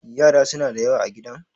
yara suna da yawa a gidan?